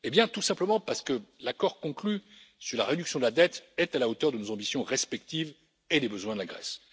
Tout simplement, parce que l'accord conclu sur la réduction de la dette est à la hauteur de nos ambitions respectives et des besoins de la Grèce.